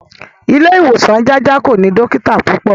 Ilé ìwòsan Jájà kò ní dọ́kítà púpọ̀.